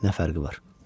Nə fərqi var?